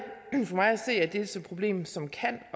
et problem som kan